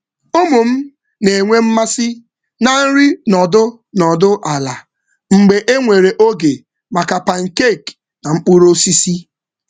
Ụmụ m na-enwe mmasị na nri nọdụ ala mgbe enwere oge maka pancake na mkpụrụ osisi.